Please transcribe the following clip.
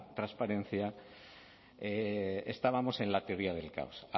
transparencia estábamos en la teoría del caos